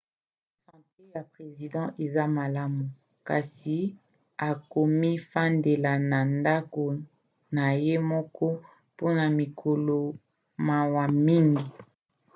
sante ya president eza malamu kasi akomifandela na ndako na ye moko mpona mikolo mawa mingi